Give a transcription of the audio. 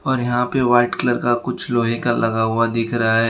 और यहां पे वाइट कलर का कुछ लोहे का लगा हुआ दिख रहा है।